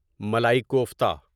malai kofta